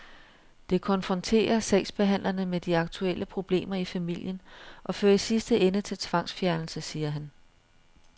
Det konfronterer sagsbehandlerne med de aktuelle problemer i familien og fører i sidste ende til tvangsfjernelse, siger han.